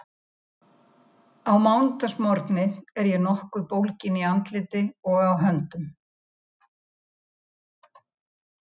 Á mánudagsmorgni er ég nokkuð bólgin í andliti og á höndum.